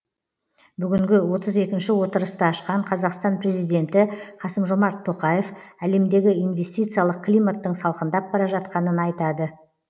бүгінгі отыз екінші отырысты ашқан қазақстан президенті қасым жомарт тоқаев әлемдегі инвестициялық климаттың салқындап бара жатқанын айтады